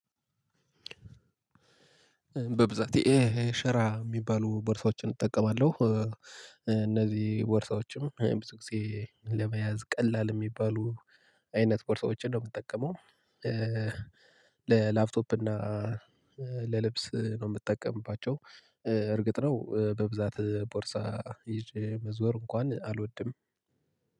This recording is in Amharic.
በብዛት ይሄ ሸራ የሚባሉ ወርሳዎችን እጠቀማለሁ እነዚህ ቦርሳዎችም ብዙ ጊዜ ለመያዝ ቀላል የሚባሉ አይነት ቦርሳዎችን ነው የምጠቀመው። ለላፕቶፕ እና ለልብስ ነው የምትጠቀምባቸው። እርግጥ ነው በብዛት ቦርሳ ይዤ መዞር እንኳን አልወድም።